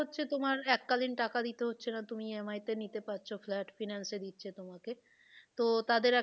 হচ্ছে তোমার এককালীন টাকা দিতে হচ্ছে না তুমি EMI তে নিতে পারছো flat finance এ দিচ্ছে তোমাকে তো তাদের,